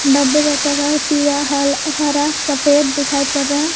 डब्बे का कलर पीला हल हरा सफेद दिखाई पड़ रहा--